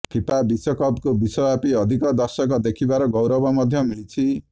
FIFA ବିଶ୍ୱକପ୍କୁ ବିଶ୍ୱବ୍ୟାପୀ ଅଧିକ ଦର୍ଶକ ଦେଖିବାର ଗୌରବ ମଧ୍ୟ ମିଳିଛି